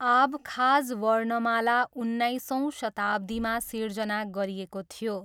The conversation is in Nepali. आबखाज वर्णमाला उन्नाइसौँ शताब्दीमा सिर्जना गरिएको थियो।